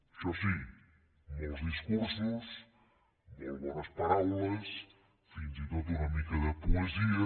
això sí molts discursos molt bones paraules fins i tot una mica de poesia